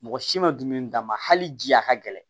Mɔgɔ si ma dumuni d'a ma hali ji a ka gɛlɛn